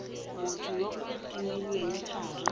motho yo o timilweng thari